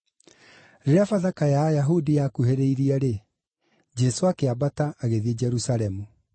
Rĩrĩa Bathaka ya Ayahudi yakuhĩrĩirie-rĩ, Jesũ akĩambata, agĩthiĩ Jerusalemu.